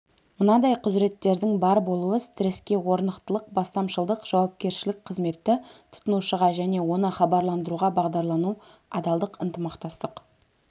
мынадай құзыреттердің бар болуы стресске орнықтылық бастамашылдық жауапкершілік қызметті тұтынушыға және оны хабарландыруға бағдарлану адалдық ынтымақтастық